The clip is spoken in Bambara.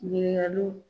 Ɲininkaliw